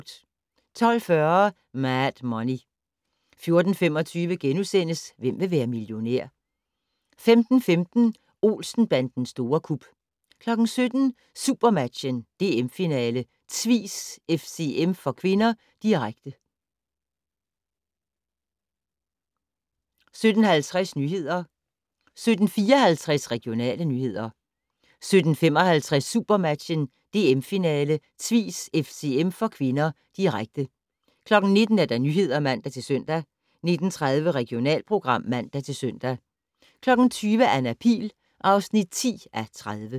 12:40: Mad Money 14:25: Hvem vil være millionær? * 15:15: Olsen-bandens store kup 17:00: SuperMatchen: DM-finale - Tvis-FCM (k), direkte 17:50: Nyhederne 17:54: Regionale nyheder 17:55: SuperMatchen: DM-finale - Tvis-FCM (k), direkte 19:00: Nyhederne (man-søn) 19:30: Regionalprogram (man-søn) 20:00: Anna Pihl (10:30)